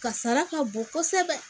Kasara ka bon kosɛbɛ